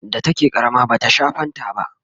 da take ƙarama bata Sha fanta ba